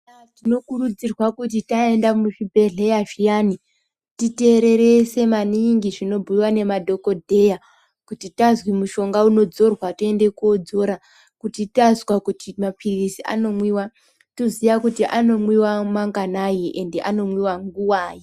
Tinokurudzirwa kuti taenda muzvibhehleya zviyani titererese maningi zvinobhuiwa nemadhokodheya kuti tazwi mushonga unodzorwa toenda kodzora kuti tazwi mapiritsi anomwiwa toziya kuti anomwiwa manganai ende anomwiwa nguwai.